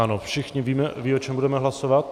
Ano, všichni víme, o čem budeme hlasovat?